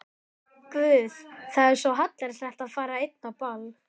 Guð, það er svo hallærislegt að fara ein á ball.